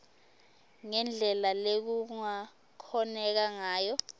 ngendlela lekungakhoneka ngayo